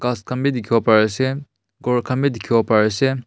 ghas khan vi dekhivo pari ase ghor khan vi dekhivo pari ase.